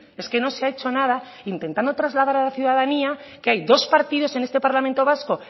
es que no se ha hecho nada intentando trasladar a la ciudadanía que hay dos partidos en este parlamento vasco